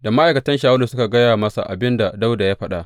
Da ma’aikatan Shawulu suka gaya masa abin da Dawuda ya faɗa.